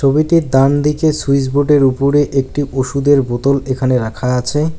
ছবিতে ডান দিকে সুইচবোর্ড -এর ওপরে একটি ওষুধের বোতল এখানে রাখা আছে।